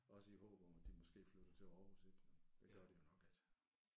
Også i håb om at de måske flytter til Aarhus ik. Det gør de jo nok ik